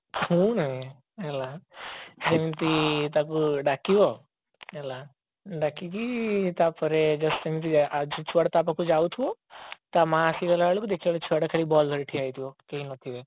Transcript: ଶୁଣେ ହେଲା ଏମିତି ତାକୁ ଡାକିବ ହେଲା ଡାକିକି ତାପରେ just ସେମିତି ସେ ଛୁଆଟା ତାପାଖକୁ ଯାଉଥିବ ତା ମାଆ ଆସିଗଲା ବେଳକୁ ଦେଖିବ ସେ ଛୁଆ ଟା ଖାଲି ball ଧରି ଠିଆ ହେଇଥିବ କେହି ନଥିବେ